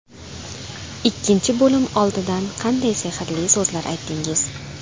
Ikkinchi bo‘lim oldidan qanday sehrli so‘zlar aytdingiz?